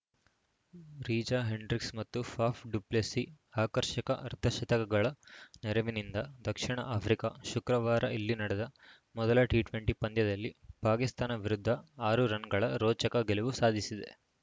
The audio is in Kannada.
ರೀಜಾ ಹೆಂಡ್ರಿಕ್ಸ್‌ ಮತ್ತು ಫಾಫ್‌ ಡು ಪ್ಲೆಸಿ ಆಕರ್ಷಕ ಅರ್ಧಶತಕಗಳ ನೆರವಿನಿಂದ ದ ಆಫ್ರಿಕಾ ಶುಕ್ರವಾರ ಇಲ್ಲಿ ನಡೆದ ಮೊದಲ ಟಿಟ್ವೆಂಟಿ ಪಂದ್ಯದಲ್ಲಿ ಪಾಕಿಸ್ತಾನ ವಿರುದ್ಧ ಆರು ರನ್‌ಗಳ ರೋಚಕ ಗೆಲುವು ಸಾಧಿಸಿದೆ